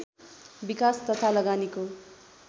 विकास तथा लगानीको